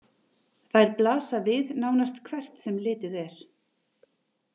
Þær blasa við nánast hvert sem litið er.